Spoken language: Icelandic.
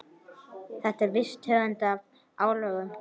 Þetta er viss tegund af álögum.